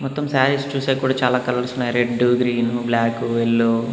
మొత్తం సారీస్ చూశాక కూడా చాలా కలర్స్ ఉన్నాయి రెడ్ గ్రీన్ బ్లాక్ ఎల్లో .